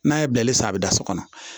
N'a ye bilali san bɛ da so kɔnɔ